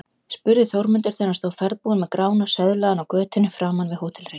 spurði Þórmundur þegar hann stóð ferðbúinn með Grána söðlaðan á götunni framan við Hótel Reykjavík.